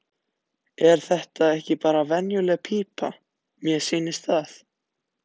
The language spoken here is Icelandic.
Er þetta ekki bara venjuleg pípa, mér sýnist það.